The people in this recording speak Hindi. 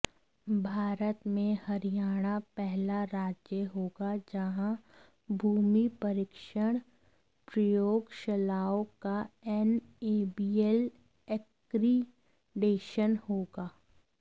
भारत में हरियाणा पहला राज्य होगा जहां भूमि परीक्षण प्रयोगशलाओं का एनएबीएल एक्रीडेशन होगा